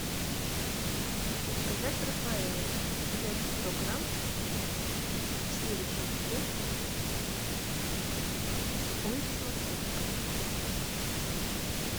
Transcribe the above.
заказать рафаэлло вес сто грамм сливочный вкус улица московская дом пять